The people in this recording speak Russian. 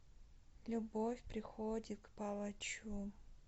любовь приходит к палачу